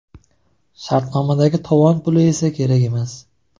Shartnomadagi tovon puli esa kerak emas.